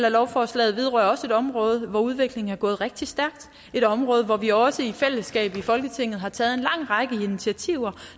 af lovforslaget vedrører også et område hvor udviklingen er gået rigtig stærkt det et område hvor vi også i fællesskab i folketinget har taget en lang række initiativer